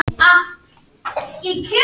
Engin breyting er á liðunum í hálfleik.